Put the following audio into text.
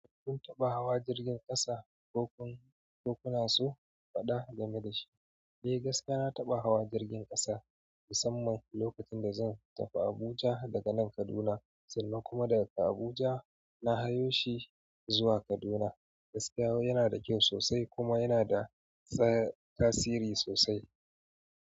Kun taɓa hawa jirgin ƙasa ko kuna so faɗa game da shi? Eh gaskiya na taɓa hawa jirgin ƙasa, musamman lokacin da zan tafi Abuja daga nan Kaduna sannan kuma daga Abuja na hayo shi zuwa Kaduna. Gaskiyawa yana da kyau sosai kuma yana da tasiri sosai.